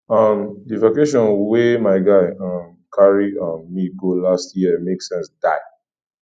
um di vacation wey my guy um carry um me go last year make sense die